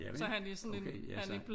Javel okay jaså